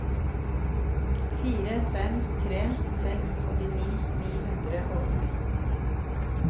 fire fem tre seks åttini ni hundre og åtti